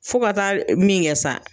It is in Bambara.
Fɔ ka taa min kɛ sa.